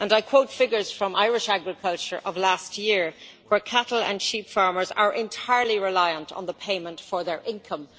I quote figures from Irish agriculture from last year, where cattle and sheep farmers were entirely reliant on the payment for their income.